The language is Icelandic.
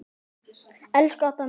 Elsku Adda mín.